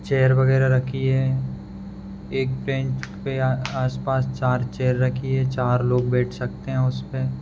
Chair वगैरा रही है एक बेंच पे आस पास चार चेयर रखी है चार लोग बेठ सकते है उसपे।